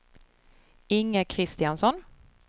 Inge Kristiansson